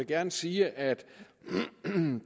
gerne sige at